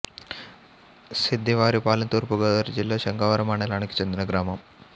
సిద్ధివారిపాలెం తూర్పు గోదావరి జిల్లా శంఖవరం మండలానికి చెందిన గ్రామం